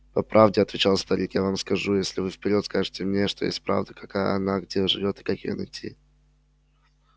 по правде отвечал старик я вам скажу если вы вперёд скажете мне что есть правда какая она где живёт и как её найти